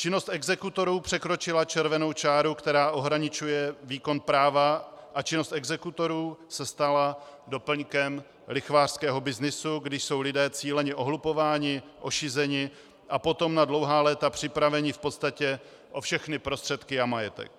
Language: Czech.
Činnost exekutorů překročila červenou čáru, která ohraničuje výkon práva, a činnost exekutorů se stala doplňkem lichvářského byznysu, kdy jsou lidé cíleně ohlupováni, ošizeni a potom na dlouhá léta připraveni v podstatě o všechny prostředky a majetek.